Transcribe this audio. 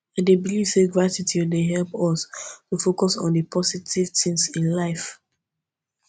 i dey believe say gratitude dey help us to focus on di positive things in life